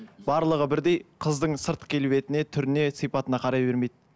барлығы бірдей қыздың сырт келбетіне түріне сипатына қарай бермейді